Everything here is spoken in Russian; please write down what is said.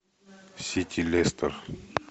сити лестер